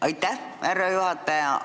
Aitäh, härra juhataja!